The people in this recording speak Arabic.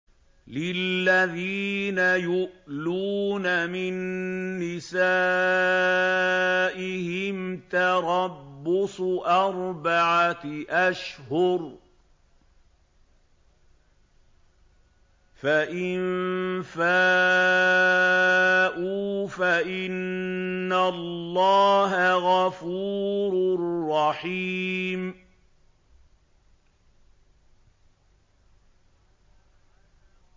لِّلَّذِينَ يُؤْلُونَ مِن نِّسَائِهِمْ تَرَبُّصُ أَرْبَعَةِ أَشْهُرٍ ۖ فَإِن فَاءُوا فَإِنَّ اللَّهَ غَفُورٌ رَّحِيمٌ